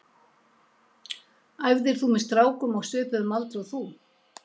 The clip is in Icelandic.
Æfðir þú með strákum á svipuðum aldri og þú?